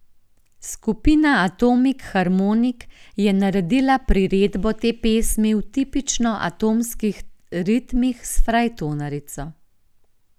Skupina Atomik Harmonik je naredila priredbo te pesmi v tipično atomskih ritmih s frajtonarico.